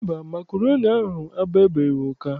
Mba, makroni ahụ agbabeghị ụka.